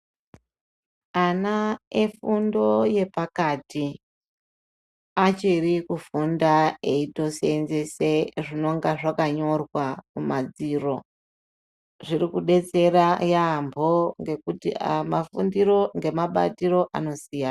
Ana efundo yepakati achiri kufunda eitoseenzese zvinonga zvakanyorwa mumadziro, zviri kudetsera yampho ngekuti mafundiro ngemabatiro anosiyana.